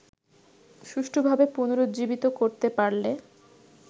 সুষ্ঠুভাবে পুনরুজ্জীবিত করতে পারলে